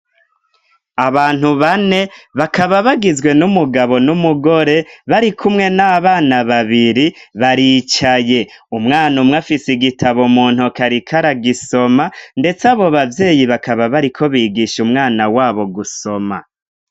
Abantu bane bakaba bagizwe n'umugabo n'umugore, barikumwe n'abana babiri baricaye. Umwana umwe afise igitabo mu ntoke ariko aragisoma, ndetse abo bavyeyi bakaba bariko bigisha umwana w'abo gusoma.